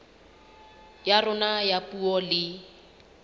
ya rona ya puo le